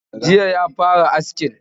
Jiyan ya fara askin?